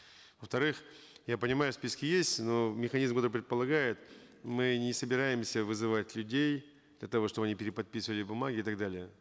во вторых я понимаю списки есть но механизм это предполагает мы не собираемся вызывать людей для того чтобы они переподписывали бумаги и так далее